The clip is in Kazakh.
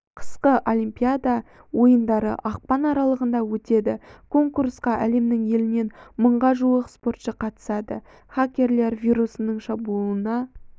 қысқы олимпиада ойындары ақпан аралығында өтеді конкурсқа әлемнің елінен мыңға жуық спортшы қатысады хакерлер вирусының шабуылына